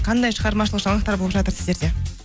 қандай шығармашылық жаңалықтар болып жатыр сіздерде